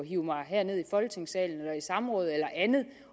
hive mig herned i folketingssalen eller i samråd eller andet